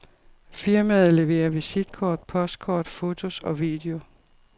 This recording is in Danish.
Firmaet leverer visitkort, postkort, fotos og video.